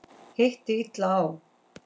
Hitti illa á.